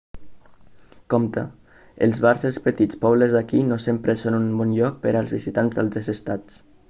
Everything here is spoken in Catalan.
compte els bars dels petits pobles d'aquí no sempre són un bon lloc per als visitants d'altres estats